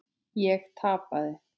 Ég tapaði.